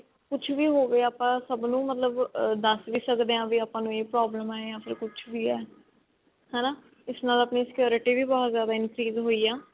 ਕੁਛ ਵੀ ਹੋਵੇ ਆਪਾਂ ਸਭ ਨੂੰ ਮਤਲਬ ਅਹ ਦੱਸ ਵੀ ਸਕਦੇ ਹਾਂ ਵੀ ਆਪਾਂ ਨੂੰ ਇਹ problem ਹੈ ਯਾਨ ਫ਼ੇਰ ਕੁਛ ਵੀ ਹੈ ਹਨਾ ਇਸ ਨਾਲ ਆਪਣੀ security ਵੀ ਬਹੁਤ ਜ਼ਿਆਦਾ increase ਹੋਈ ਆ